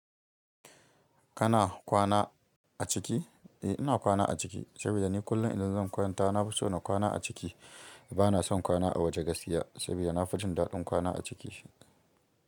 Kana kwana a ciki? Eh, ina kwana a ciki saboda ni kullum idan zan kwanta na fi so na kwana a ciki. Ba na son kwana a waje gaskiya saboda na fi jin daɗin kwana a ciki.